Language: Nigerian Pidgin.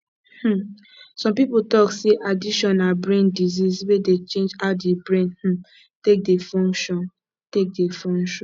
um some pipo talk sey addiction na brain disease wey dey change how di brain um take dey function take dey function